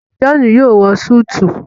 John yóò wọ Súìtì